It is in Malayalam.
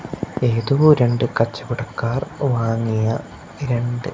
ഏതോ രണ്ടു കച്ചവടക്കാർ വാങ്ങിയ രണ്ട്--